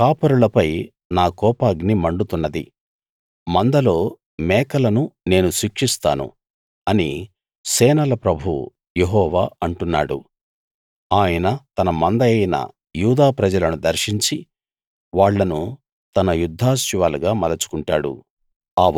కాపరులపై నా కోపాగ్ని మండుతున్నది మందలో మేకలను నేను శిక్షిస్తాను అని సేనల ప్రభువు యెహోవా అంటున్నాడు ఆయన తన మందయైన యూదా ప్రజలను దర్శించి వాళ్ళను తన యుద్ధాశ్వాలుగా మలుచుకుంటాడు